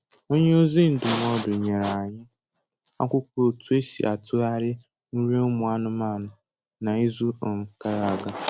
Onye ozi ndụmọdụ nyere anyị akwụkwọ otu esi atụghari nri ụmụ anụmanụ na izu um gara aga